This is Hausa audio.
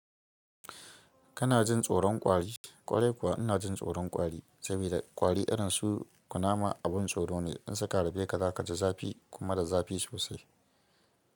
Kana jin tsoron kwari, ƙwarai kuwa ina jin tsoron kwari saboda kwari irin su kunama abin tsoro ne in suka harbe ka za ka ji zafi kuma da zafi sosai.